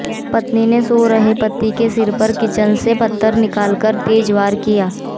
पत्नी ने सो रहे पति के सिर पर किचन से पत्थर निकालकर तेज वार किया